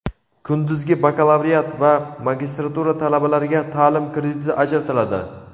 Kunduzgi bakalavriat va magistratura talabalariga taʼlim krediti ajratiladi.